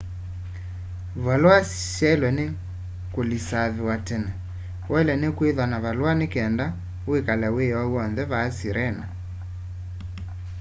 valua syailwe ni kulisaviwa tene wailwe ni kwithwa na valua ni kenda wikale wiyoo wonthe vaa sirena